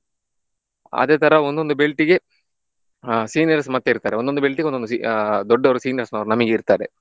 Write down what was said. ಅದೇ ತರ ಒಂದೊಂದು belt ಇಗೆ ಆಹ್ seniors ಮತ್ತೆ ಇರ್ತಾರೆ ಒಂದೊಂದು belt ಇಗೆ ಒಂದೊದು se~ ಆಹ್ ದೊಡ್ಡವರು seniors ನಮಿಗ್ ಇರ್ತಾರೆ.